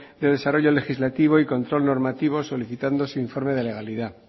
de desarrollo legislativo y control normativo solicitando su informe de legalidad